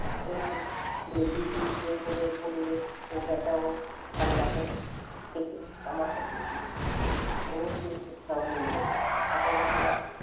একটু খুলে বিড়বিড় করে বললে ও ব্যাটা কাল রাতে থেকে আমার কাছে এসে জুটেছে। ওর ও কেউ কোথাও নেই বোধহয় তাহলে কি আর,